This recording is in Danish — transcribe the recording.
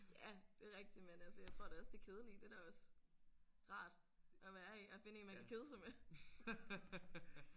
Ja det er rigtigt men altså jeg tror da også det kedelige det er da også rart at være i at finde en man kan kede sig med